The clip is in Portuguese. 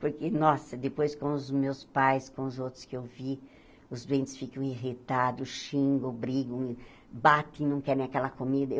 Por e, nossa, depois com os meus pais, com os outros que eu vi, os doentes ficam irritados, xingam, brigam, batem, não querem aquela comida. Eu